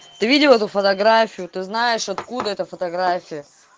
ты видела эту фотографию ты знаешь откуда эта фотография